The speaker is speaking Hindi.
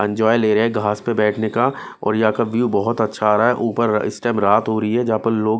एंजॉय ले रहे हैं घास पर बैठने का और यहां का व्यू बहुत अच्छा आ रहा है ऊपर इस टाइम रात हो रही है जहां पर लोग--